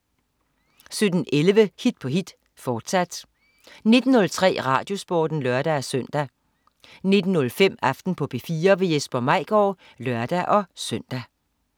17.11 Hit på hit. Fortsat 19.03 RadioSporten (lør-søn) 19.05 Aften på P4. Jesper Maigaard (lør-søn)